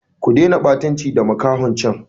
Ku dena ɓatanci da makahon can!